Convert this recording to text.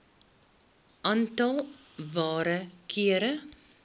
aantal waarde kere